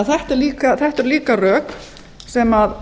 þetta eru því líka rök sem